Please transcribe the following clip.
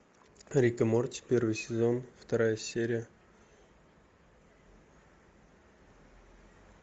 рик и морти первый сезон вторая серия